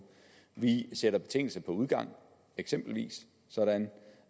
vi sætter betingelse på udgang eksempelvis sådan